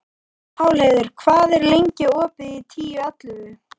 Pálheiður, hvað er lengi opið í Tíu ellefu?